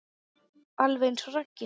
Alveg eins og Raggi.